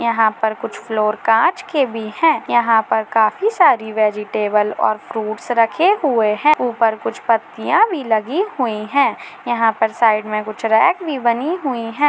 यहा पर कुछ फ्लोर काँच के भी है यहा पर काफी सारे वेजीटेबल और फ्रूइट्स रखे हुए है ऊपर कुछ पत्तिया भी लगी हुई है यहा पर साइड मे कुछ रेक भी बनी हुई है।